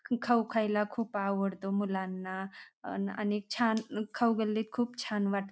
खाऊ खायला खूप आवडतो मुलांना आणि छान खाऊ गल्लीत खूप छान वाटत.